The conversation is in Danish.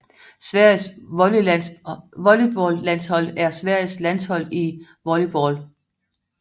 Sveriges volleyballlandshold er Sveriges landshold i volleyball